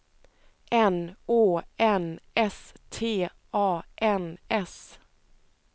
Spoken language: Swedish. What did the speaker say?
N Å N S T A N S